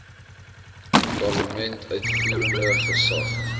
parlement uitvoerende gesag